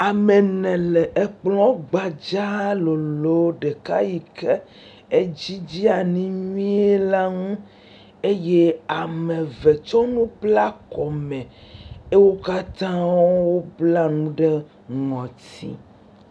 Ame ene le kplɔ̃a gbadzaa loloo ɖeka yi ke edzi dze anyi nyuie la ŋu eye ame eve tsɔ nu bla kɔme. Wo katã wobla nu ɖe ŋɔti.